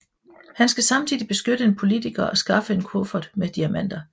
Han skal samtidig beskytte en politiker og skaffe en kuffert med diamanter